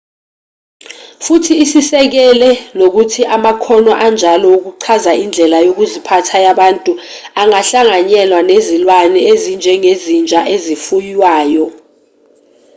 futhi usikisele nokuthi amakhono anjalo wokuchaza indlela yokuziphatha yabantu angahlanganyelwa nezilwane ezinjengezinja ezifuywayo